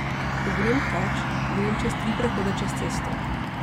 Ko grem teč, grem čez tri prehode čez cesto.